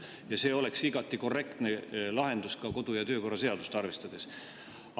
Ja see oleks igati korrektne lahendus ka kodu‑ ja töökorra seadust arvestades.